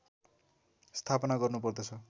स्थापना गर्नुपर्दछ